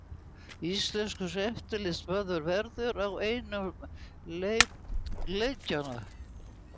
Íslenskur eftirlitsmaður verður á einum leikjanna